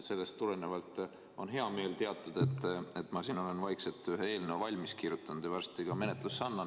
Sellest tulenevalt on hea meel teatada, et ma olen vaikselt ühe eelnõu valmis kirjutanud ja varsti annan selle menetlusse.